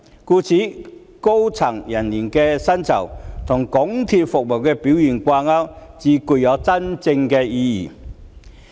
故此，將高層人員的薪酬與港鐵的服務表現掛鈎才具真正意義。